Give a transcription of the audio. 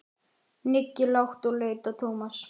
Nikki lágt og leit á Tómas.